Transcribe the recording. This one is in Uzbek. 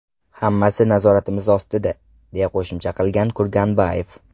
Hammasi nazoratimiz ostida”, deya qo‘shimcha qilgan Kurganbayev.